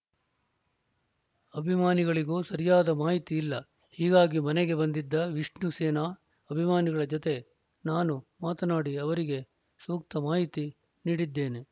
ಅಭಿಮಾನಿಗಳಿಗೂ ಸರಿಯಾದ ಮಾಹಿತಿ ಇಲ್ಲ ಹೀಗಾಗಿ ಮನೆಗೆ ಬಂದಿದ್ದ ವಿಷ್ಣು ಸೇನಾ ಅಭಿಮಾನಿಗಳ ಜತೆ ನಾನು ಮಾತನಾಡಿ ಅವರಿಗೆ ಸೂಕ್ತ ಮಾಹಿತಿ ನೀಡಿದ್ದೇನೆ